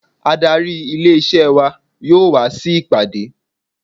Adarí ilé isẹ́ wa yóò wa sí ìpàdé.